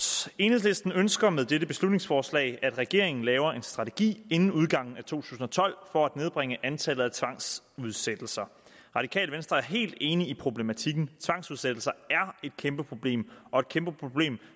enhedslisten ønsker med dette beslutningsforslag at regeringen laver en strategi inden udgangen af to tusind og tolv for at nedbringe antallet af tvangsudsættelser radikale venstre er helt enige i problematikken tvangsudsættelser er et kæmpe problem og et kæmpe problem